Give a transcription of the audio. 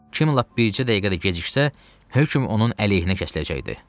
Kim ləpcə bircə dəqiqə də geciksə, hökm onun əleyhinə kəsiləcəkdi.